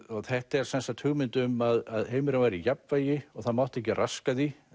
þetta er sem sagt hugmynd um að heimurinn væri í jafnvægi og það mátti ekki raska því